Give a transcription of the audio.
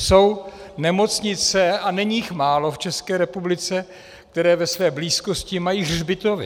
Jsou nemocnice, a není jich málo v České republice, které ve své blízkosti mají hřbitovy.